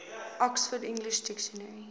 oxford english dictionary